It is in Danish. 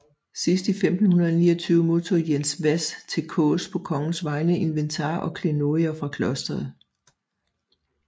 Sidst i 1529 modtog Jens Hvas til Kaas på kongens vegne inventar og klenodier fra klosteret